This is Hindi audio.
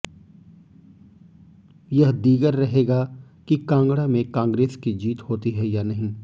यह दीगर रहेगा कि कांगड़ा में कांग्रेस की जीत होती है या नहीं